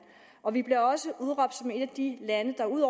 og vi bliver også udråbt som et af de lande der ud